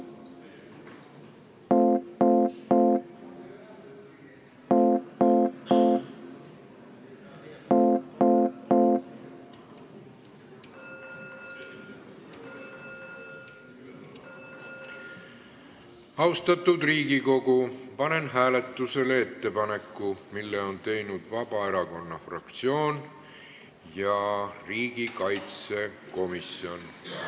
Austatud Riigikogu, panen hääletusele ettepaneku, mille on teinud Vabaerakonna fraktsioon ja riigikaitsekomisjon.